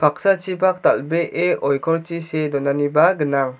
paksachipak dal·bee oikorchi see donaniba gnang.